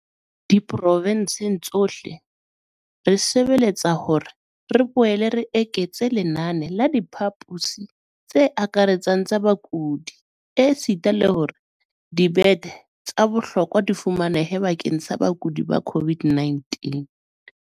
Diprovenseng tsohle, re sebeletsa hore re boele re eketse lenane la diphaposi tse akaretsang tsa bakudi esita le hore dibethe tsa bohlokwa di fumanehe bakeng sa bakudi ba COVID-19.